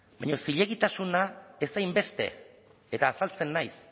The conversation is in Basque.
baina zilegitasuna ez hainbeste eta azaltzen naiz